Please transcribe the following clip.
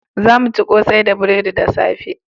Za mu ci kosai da buredi da safe